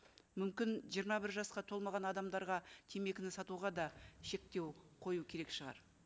мүмкін жиырма бір жасқа толмаған адамдарға темекіні сатуға да шектеу қою керек шығар